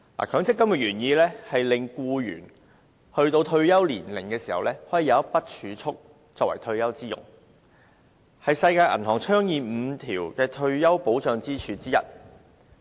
強積金的原意是令僱員到退休年齡時，可以有一筆儲蓄作退休之用，這是世界銀行倡議的5根退休保障支柱之一。